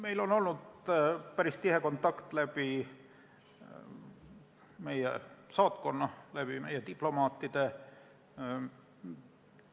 Meil on olnud päris tihe kontakt meie saatkonna ja diplomaatide kaudu.